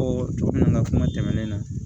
cogo min na n ka kuma tɛmɛnen na